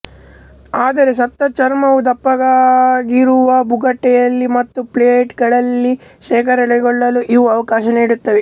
ಆದರೆ ಸತ್ತ ಚರ್ಮವು ದಪ್ಪಗಿರುವ ಬುಗಟೆಯಲ್ಲಿ ಮತ್ತು ಪ್ಲೇಟ್್ಗಳಲ್ಲಿ ಶೇಖರಣೆಗೊಳ್ಳಲು ಇವು ಅವಕಾಶ ನೀಡುತ್ತವೆ